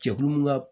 Jɛkulu min ka